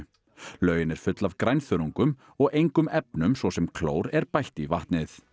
laugin er full af og engum efnum svo sem klór er bætt í vatnið